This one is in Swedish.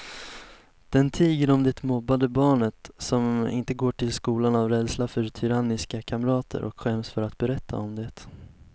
Den tiger om det mobbade barnet som inte går till skolan av rädsla för tyranniska kamrater och skäms för att berätta om det.